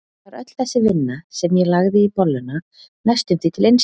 Var öll þessi vinna, sem ég lagði í bolluna, næstum því til einskis?